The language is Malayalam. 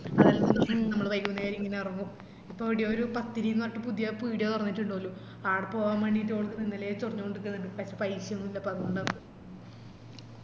ഞമ്മള് വൈകുന്നേരം ഇങ്ങനെ എറങ്ങും ഇപ്പൊ എടെയോ ഒര് പത്തിരിന്ന് പറഞ്ഞിറ്റ് ഒര് പീടിയ തൊറന്നിറ്റുണ്ടോലു അപ്പൊ ആടപോവാൻ വേണ്ടിറ്റ് ഒളിപ്പോ ഇങ്ങനെ ചൊറിഞ്ഞോണ്ട് നിക്കുന്നുണ്ട് പക്ഷേ paisa ഒന്നും ഇല്ലപ്പ അത്കൊണ്ട് ആന്ന്